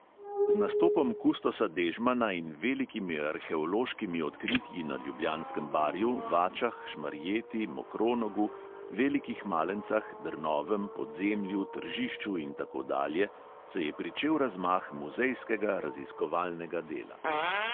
Z nastopom kustosa dežmana in velikimi arheološkimi odritji na ljubljanskem barju, vačah, šmarjeti, mokronogu, velikih malencah, drnovem, podzemlju, tržišču in tako dalje se je pričel razmah muzejskega raziskovalnega dela.